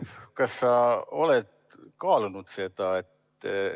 Kas sa oled seda kaalunud?